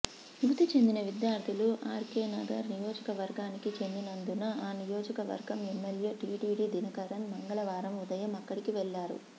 మృతిచెందిన విద్యార్థులు ఆర్కేనగర్ నియోజకవర్గానికి చెందినందున ఆ నియోజకవర్గం ఎమ్మెల్యే టీటీవీ దినకరన్ మంగళవారం ఉదయం అక్కడికి వెళ్లారు